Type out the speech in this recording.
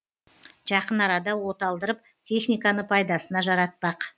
жақын арада оталдырып техниканы пайдасына жаратпақ